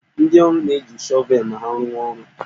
Ndị ọrụ na-eji shọvelụ ma ha rụwa orụ